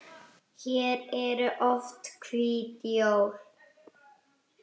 Hér eru oft hvít jól.